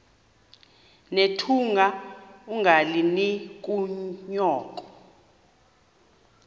nethunga ungalinik unyoko